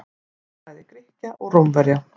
Goðafræði Grikkja og Rómverja.